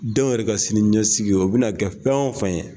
Denw yɛrɛ ka sini ɲɛsigi o bɛna kɛ fɛn o fen ye.